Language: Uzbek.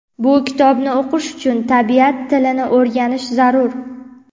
Bu kitobni o‘qish uchun tabiat tilini o‘rganish zarur.